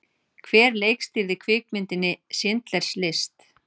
Hver leikstýrði kvikmyndinni Schindlers List?